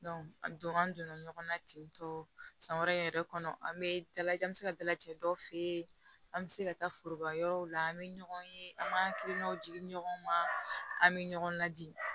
a don an donna ɲɔgɔn na tentɔ san wɛrɛ yɛrɛ kɔnɔ an bɛ dalajɛ an bɛ se ka dalajɛ dɔw fe yen an bɛ se ka taa foroba yɔrɔw la an bɛ ɲɔgɔn ye an b'an hakilinaw jigin ɲɔgɔn ma an bɛ ɲɔgɔn ladi